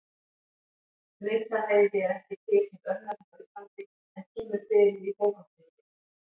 Gnitaheiði er ekki til sem örnefni á Íslandi en kemur fyrir í bókartitli.